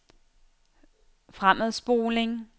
fremadspoling